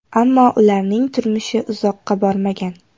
Ammo ularning turmushi uzoqqa bormagan.